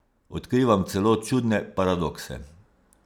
Odkrivam celo čudne paradokse.